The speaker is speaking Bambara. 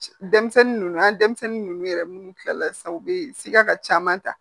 Denmisɛnnin ninnu an denmisɛnnin ninnu yɛrɛ minnu kila la sisan u bɛ sika caman ta